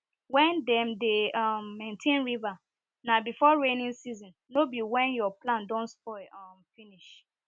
when dem dey um maintain river na before raining season no be when your plants don spoil um finish